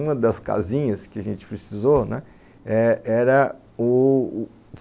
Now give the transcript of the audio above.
Uma das casinhas que a gente precisou, né, era, o,